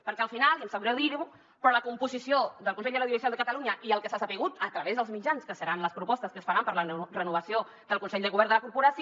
perquè al final i em sap greu dir ho però la composició del consell de l’audiovisual de catalunya i el que s’ha sabut a través dels mitjans que seran les propostes que es faran per a la renovació del consell de govern de la corporació